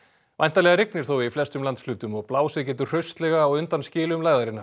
væntanlega rignir þó í flestum landshlutum og blásið getur hraustlega á undan skilum